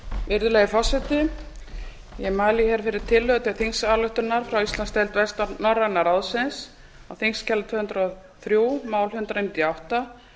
virðulegi forseti ég mæli hér fyrir tillögu til þingsályktunar frá íslandsdeild vestnorræna ráðsins á þingskjali tvö hundruð og þrjú mál tvö hundruð níutíu og átta